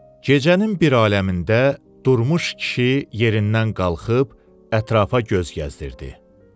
Gecənin bir aləmində durmuş kişi yerindən qalxıb ətrafa göz gəzdirdi.